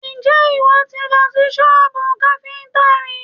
Ǹjẹ́ ìwọ ti lọ sí sọ́bù káfíntà rí?